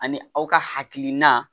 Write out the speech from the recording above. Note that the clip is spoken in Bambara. Ani aw ka hakilina